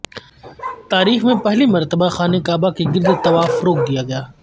تاریخ میں پہلی مرتبہ خانہ کعبہ کے گردطواف روک دیاگیا